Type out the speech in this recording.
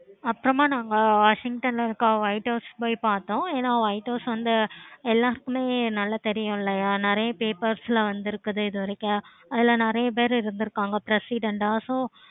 அப்பறமா நாங்க washington ல இருக்க light house போய் பார்த்தோம். ஏன light house வந்து எல்லாத்துக்குமே நல்ல தெரியும்ல. நெறைய papers லாம் வந்துருக்குது இது வரைக்கும் அதுல நெறைய பேர் இருந்துருக்காங்க. president ஆஹ் so